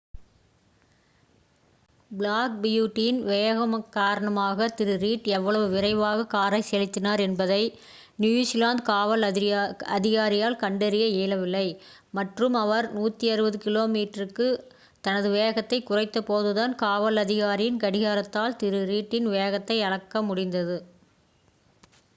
Black பியூட்டியின் வேகம் காரணமாக திரு.ரீட் எவ்வளவு விரைவாக காரை செலுத்தினார் என்பதை நியுசிலாந்து காவல் அதிகாரியால் கண்டறிய இயலவில்லை மற்றும் அவர் 160km/hக்கு தனது வேகத்தை குறைத்தபோதுதான் காவல் அதிகாரியின் கடிகாரத்தால் திரு. ரீட்டின் வேகத்தை அளக்க முடிந்தது